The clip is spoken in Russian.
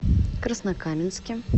краснокаменске